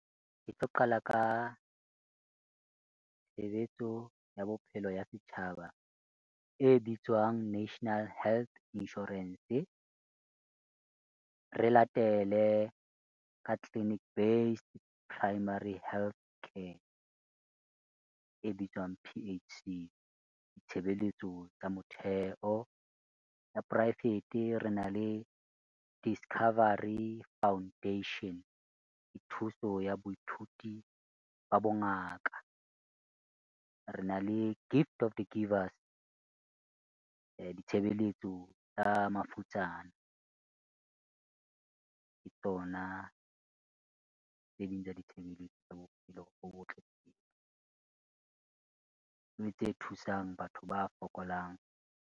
Ke tlo qala, ka tshebetso ya bophelo ya setjhaba e bitswang National Health Insurance. Re latele ka Clinic Base Primary Healthcare e bitswang P_H_C tshebeletso tsa motheo. Ya poraefete re na le Discovery Foundation thuso ya baithuti ba bongaka. Re na le Gift of the givers ditshebeletso tsa mafutsana. Ke tsona tse ding tsa ditshebeletso tsa bophelo bo botle, mme tse thusang batho ba fokolang.